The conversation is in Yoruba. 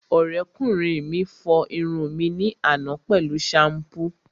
Ọ̀rẹ́kùnrin mi fọ irun mi ní àná pẹ̀lú ṣampú